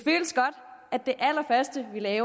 ved at